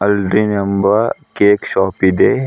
ಅಲ್ದೆನ್ ಎಂಬ cake shop ಇದೆ.